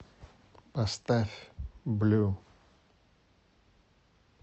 поставь блю